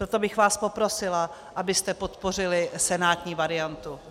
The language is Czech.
Proto bych vás poprosila, abyste podpořili senátní variantu.